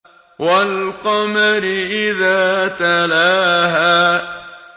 وَالْقَمَرِ إِذَا تَلَاهَا